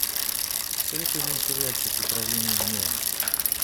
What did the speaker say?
посоветуй мне сериальчик управление гневом